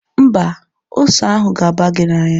Mba, ose ahụ ga-aba gị n'anya.